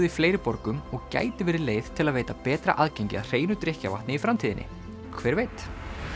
í fleiri borgum og gæti verið leið til að veita betra aðgengi að hreinu drykkjarvatni í framtíðinni hver veit